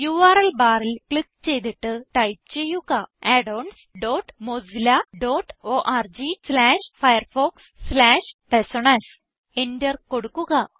URL ബാറിൽ click ചെയ്തിട്ട് type ചെയ്യുക addons dot Mozilla dot org slash Firefox slash personas Enter കൊടുക്കുക